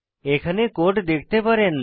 এখানে কোড দেখতে পারেন